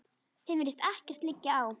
Þeim virðist ekkert liggja á.